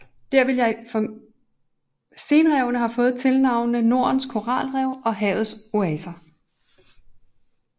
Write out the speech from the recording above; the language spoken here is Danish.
Stenrevene har fået tilnavnene Nordens Koralrev og Havets Oaser